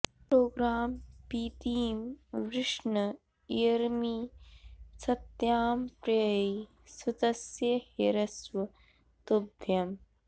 programme पी॒तिं वृष्ण॑ इयर्मि स॒त्यां प्र॒यै सु॒तस्य॑ हर्यश्व॒ तुभ्य॑म्